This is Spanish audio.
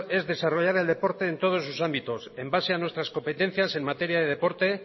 es desarrollar el deporte en todos sus ámbitos en base a nuestras competencias en materia de deporte